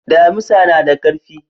Damisa na da karfi.